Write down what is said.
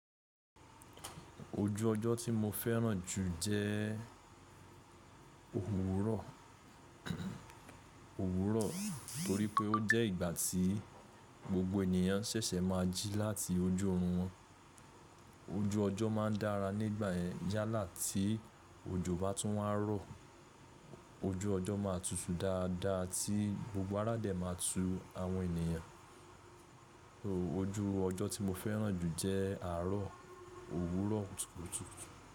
Ojú ọjọ́ tí mo fẹ́ràn jù jẹ òwúrọ̀, torí pé ó jẹ́ ìgbà tí gbogbo ènìyàn ṣẹ̀ṣẹ̀ máa jí láti ojú orun wọn. Ojú ọjọ́ máa n dára nígbà yẹn yálà tí òjò bá tún wá rọ. Ojú ọjọ́ máa tutu dáadáa tí gbogbo ara dẹ̀ máa tu àwọn ènìyàn. Ojú ọjọ́ tí mo fẹ́ràn jù jẹ́ àárọ̀ òwúrọ̀ tutu.